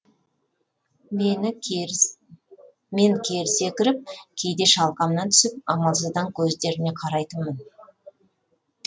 мен кері секіріп кейде шалқамнан түсіп амалсыздан көздеріне қарайтынмын